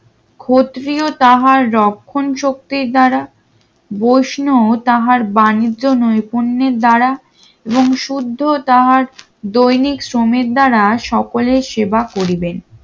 ক্ষত্রিয় তাহার রক্ষণশক্তির দ্বারা বৈষ্ণব তাহার বাণিজ্য নয় পণ্যের দ্বারা এবং শুদ্ধ তাহার দৈনিক সমীর দ্বারা সকলের সেবা করিবেন